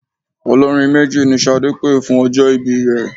Olórin méjì ni Ṣadé pè fún ọjọ́ ìbí rẹ.